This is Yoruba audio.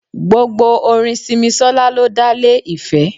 Gbogbo orin Simisola ló dá lé ìfẹ́.